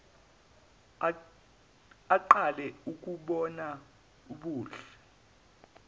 aqale ukubona ubuhle